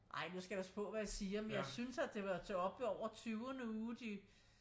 Ej nu skal jeg passe på hvad jeg siger men jeg synes at det var op til over ved tyvende uge de